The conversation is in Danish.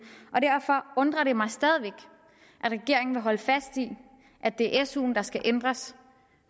og derfor undrer det mig stadig væk at regeringen vil holde fast i at det er suen der skal ændres